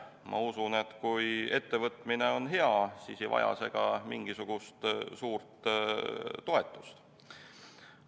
Ma usun, et kui ettevõtmine on hea, siis ei vaja see ka mingisugust suurt toetust.